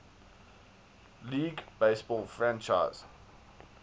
league baseball franchise